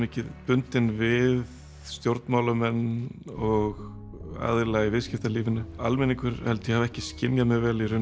bundnar við stjórnmálamenn og aðila í viðskiptalífinu almenningur held ég hafi ekki skynjað mjög vel